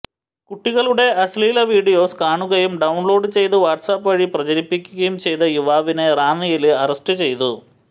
കുട്ടികളുടെ അശ്ലീല വീഡിയോസ് കാണുകയും ഡൌണ്ലോഡ് ചെയ്ത് വാട്സാപ്പ് വഴി പ്രചരിപ്പിക്കുകയും ചെയ്ത യുവാവിനെ റാന്നിയില് അറസ്റ്റ് ചെയ്തു